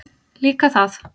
Líka það.